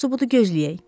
Yaxşısı bunu gözləyək.